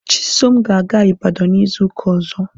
Chisom ga-aga Ibadan izu ụka ọzọ.